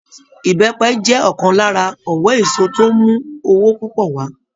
Ìbẹ́pẹ jẹ́ ọ̀kan lára òwò èso tó ń mú owó púpọ̀ wà á